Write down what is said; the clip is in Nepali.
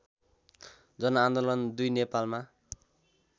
जनआन्दोलन २ नेपालमा